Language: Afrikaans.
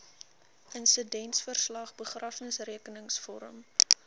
insidentverslag begrafnisrekenings vorm